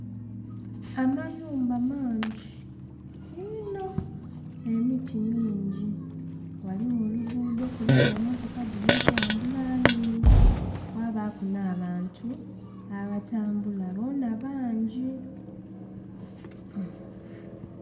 Amayumba mangi inho emiti mingi. Waliwo oluguudho kuliku emotoka diri tambula ningi, kwabaku na bantu aba tambula boona bangi